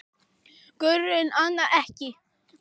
Guðrún: Annað ekki?